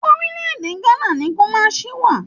Orílẹ̀-èdè Ghana ni Kùmasí wà